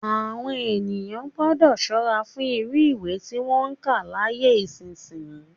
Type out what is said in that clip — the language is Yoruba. Àwọn èèyàn gbọ́dọ̀ ṣọ́ra fún irú ìwé tí wọn ń kà láyé ìsinsìnyí